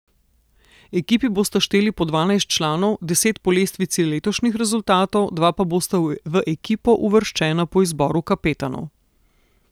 Ekipi bosta šteli po dvanajst članov, deset po lestvici letošnjih rezultatov, dva pa bosta v ekipo uvrščena po izboru kapetanov.